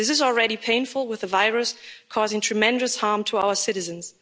This is already painful with the virus causing tremendous harm to our citizens.